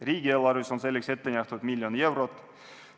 Riigieelarves on selleks ette nähtud 1 miljon eurot.